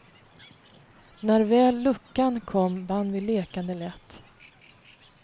När väl luckan kom vann vi lekande lätt.